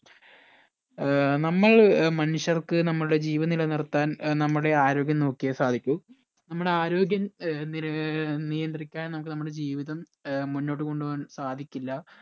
ഏർ നമ്മൾ മനുഷ്യർക്ക് നമ്മടെ ജീവൻ നിലനിർത്താൻ ഏർ നമ്മടെ ആരോഗ്യം നോക്കിയേ സാധിക്കൂ നമ്മടെ ആരോഗ്യം ഏർ നില ആഹ് നിയന്ത്രിക്കാൻ ഏർ നമ്മക്ക് നമ്മടെ ജീവിതം ഏർ മുന്നോട്ട് കൊണ്ട് പോവാൻ സാധിക്കില്ല